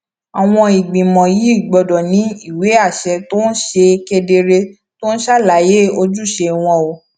àwọn ìgbìmọ yìí gbọ́dọ̀ ní ìwé àṣẹ tó ṣe kedere tó ń ṣàlàyé ojúṣe wọn ó